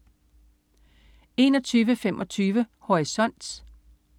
21.25 Horisont